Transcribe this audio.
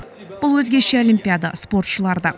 бұл өзгеше олимпиада спортшылар да